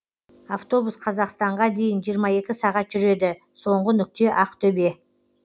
автобус қазақстанға дейін жиырма екі сағат жүреді соңғы нүкте ақтөбе